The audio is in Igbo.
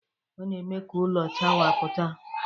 Ọ na-eme ka ụlọ chawapụta